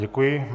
Děkuji.